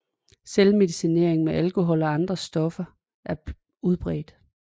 Selvmedicinering med alkohol og andre stoffer er udbredt